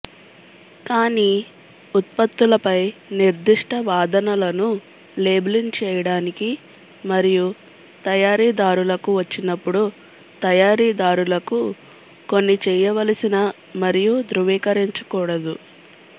కానీ ఉత్పత్తులపై నిర్దిష్ట వాదనలను లేబులింగ్ చేయడానికి మరియు తయారీదారులకు వచ్చినప్పుడు తయారీదారులకు కొన్ని చేయవలసిన మరియు ధృవీకరించకూడదు